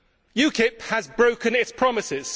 UKIP has broken its promise.